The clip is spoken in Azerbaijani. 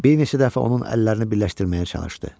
Bir neçə dəfə onun əllərini birləşdirməyə çalışdı.